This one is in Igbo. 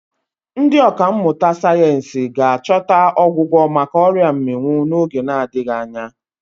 Ndị ọkà mmụta sayensị ga-achọta ọgwụgwọ maka ọrịa mmịnwụ n'oge na-adịghị anya.